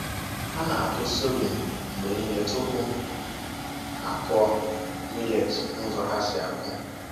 Ha na-akụ sorghum mgbe niile tupu ha akụ millet n’ụzọ ha si akụ.